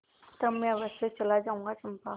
तब मैं अवश्य चला जाऊँगा चंपा